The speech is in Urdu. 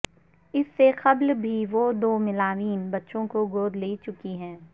اس سے قبل بھی وہ دو ملاوین بچوں کو گود لے چکی ہیں